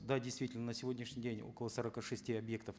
да действительно на сегодняшний день около сорока шести объектов